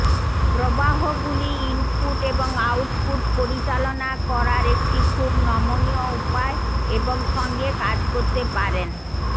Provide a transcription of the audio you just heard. প্রবাহগুলি input এবং output পরিচালনা করার একটি খুব নমনীয় উপায় এবং সঙ্গে কাজ করতে পারেন